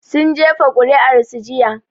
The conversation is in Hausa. Sun jefa kuri'ar su jiya